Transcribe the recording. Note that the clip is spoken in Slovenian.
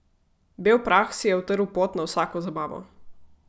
Bel prah si je utrl pot na vsako zabavo.